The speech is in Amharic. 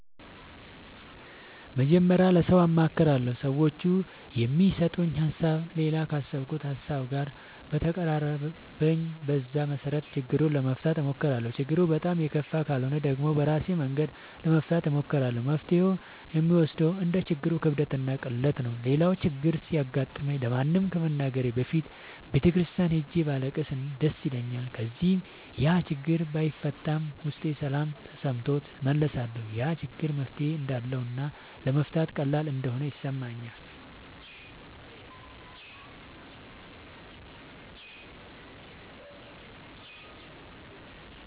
መጀመሪያ ለሠው አማክራለሁ። ሠዎቹ የሚሠጡኝ ሀሣብ እኔ ካሠብኩት ሀሳብ ጋር ከተቀራረበልኝ በዛ መሠረት ችግሩን ለመፍታት እሞክራለሁ። ችግሩ በጣም የከፋ ካልሆነ ደግሞ በራሴ መንገድ ለመፍታት እሞክራለሁ። መፍትሔውን የምወስነው እንደ ችግሩ ክብደትና ቅለት ነው። ሌላው ችግር ሲገጥመኝ ለማንም ከመናገሬ በፊት ቤተ ክርስቲያን ሄጄ ባለቅስ ደስ ይለኛል። ከዚያ ያችግር ባይፈታም ውስጤ ሠላም ተሠምቶት እመለሳለሁ። ያ ችግር መፍትሔ እንዳለውና ለመፍታት ቀላል እንደሆነ ይሠማኛል።